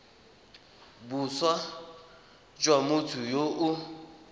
boswa jwa motho yo o